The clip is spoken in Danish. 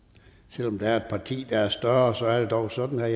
selv om der er et parti der er større så er det dog sådan vil